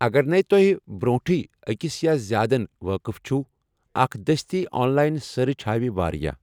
اگرنے توہہِ برونٹھٕے اَکِس یا زیادن وٲقف چھِو ، اَکھ دستی آن لایِن سٔرچ ہاوِ واریاہ ۔